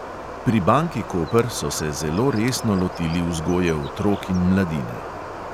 Pri banki koper so se zelo resno lotili vzgoje otrok in mladine.